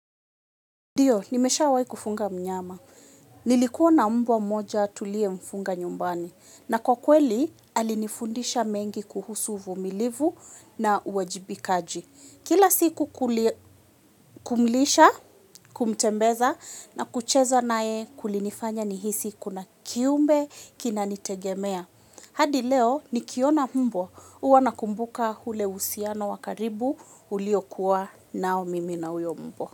Ndiyo, nimesha wae kufunga mnyama. Nilikuwa na mbwa moja tulie mfunga nyumbani. Na kwa kweli, alinifundisha mengi kuhusu uvumilivu na uwajibikaji. Kila siku kumlisha, kumtembeza na kuchezo nae kulinifanya nihisi kuna kiumbe kina nitegemea. Hadi leo, nikiona mbwa uwanakumbuka hule usiana wakaribu uliokua nao mimi na uyo mbwa.